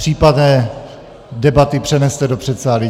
Případné debaty přeneste do předsálí.